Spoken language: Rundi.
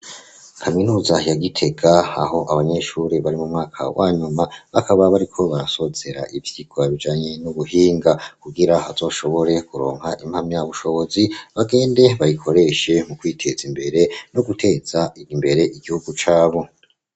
Kaminuza ya Gitega aho abanyeshuri bari mu mwaka wa nyuma bakaba bariko barasozera ivyigwa bijanye n'ubuhinga, kugira bazoshobore kuronka impamyabushobozi bagende bayikoreshe mu kwiteza imbere no guteza imbere igihugu cabo.